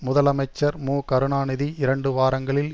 முதலமைச்சர் மு கருணாநிதி இரண்டு வாரங்களில்